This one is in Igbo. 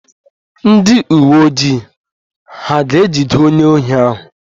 Ndị uwe ojii hà ga-ejide onye ohi ahụ?